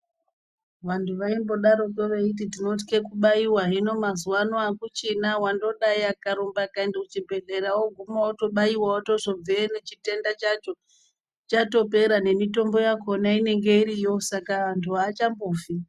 Vantu vaimbodariko veitwa kubaiva hino maziva ano hakuchina vandodai akarumba akaenda kuchibhedhlera unogume votobaiva. Vozobveyo nechitenda chacho chatopera nemitombo yakona inenge iriyo saka antu haachambofi.